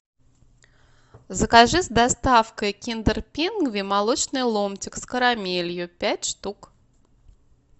закажи с доставкой киндер пингви молочный ломтик с карамелью пять штук